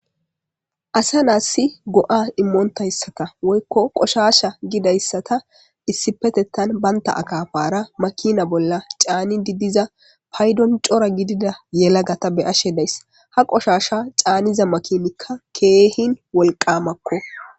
asa naassi go7a immoontayssaka woykko qoshasha gidayssata issipetettan baynta akafara makina bolla caani diddiza paydon cora gidida yelagata be ashe days ha qoshasha caaniza makinikka keehin wolqamakko